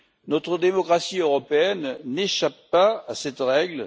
Notre démocratie européenne n'échappe pas à cette règle.